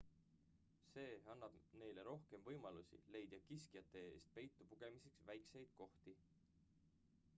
see annab neile rohkem võimalusi leida kiskjate eest peitu pugemiseks väikeseid kohti